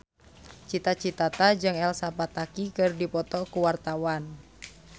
Cita Citata jeung Elsa Pataky keur dipoto ku wartawan